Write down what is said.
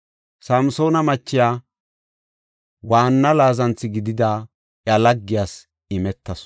Samsoona machiya waanna laazanthi gidida iya laggiyas imetasu.